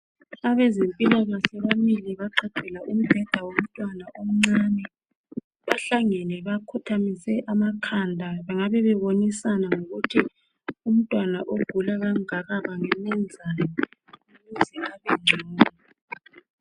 Abezempilakahle bamile. Bagqagqela umbheda womntwana omncane. Bahlangene, bakhothamise amakhanda. Bangabe bebonisana ngokuthi umntwana ogula kangaka bangamenzani. Ukuze abengcono.